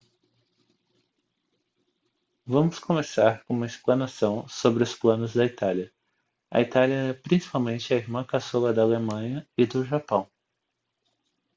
vamos começar com uma explanação sobre os planos da itália a itália era principalmente a irmã caçula da alemanha e do japão